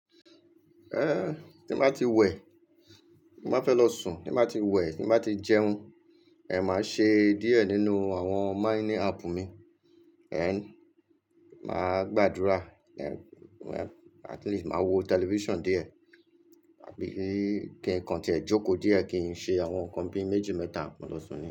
Tí n ba ti wẹ̀, Ti n ba fẹ́ lọ sùn, tí n ba ti wẹ̀, tí n ba ti jẹun, màá ṣe díẹ̀ nínú àwọn mining app mi, then, màá gbàdúrà, at least màá wo television díẹ̀, àbí kí nǹkan tí ẹ jókòó díẹ̀ kí n ṣe àwọn nǹkan bíi méjì, mẹ́ta mo lọ́ sun niyen.